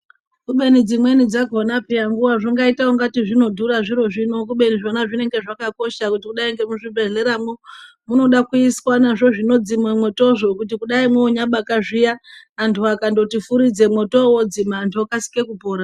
Kubeni dzimweni dzakhona peya nguva dzingaita ungati zvinodhura zviro zvino kubeni zvona zvinenge zvakakosha kudai ngemuzvibhedhleramwo. Munoda kuiswa nazvo zvinodzima mwotozvo kuti kudai manyabaka zviya antu akandoti furidze mwotovo vodzima antu okasike kupora.